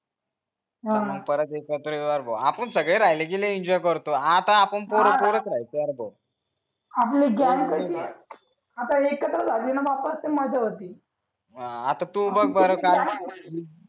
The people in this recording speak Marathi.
हा आपुण सगळे राहिले कि लय एन्जोय करतो आता अपुन पोर पोरच राहतो यार भाऊ आपली गॅग कशी आता एकत्रच झाली न बापा ते माझ्या वरती आता तू बघ बर काय